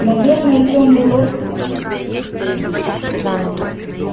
наверное тёмный лорд потому и хотел его убить